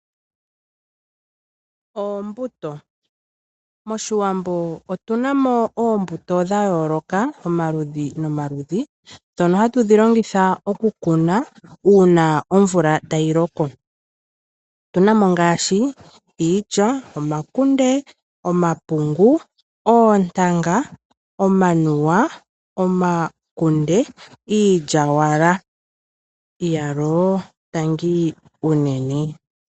Oombuto Moshiwambo otu na mo oombuto dha yooloka omaludhi nomaludhi ndhono hatu dhi longitha okukuna uuna omvula tayi loko. Otu na mo ngaashi iilya, omakunde, omapungu, oontanga, omanuwa niilyaalyaaka.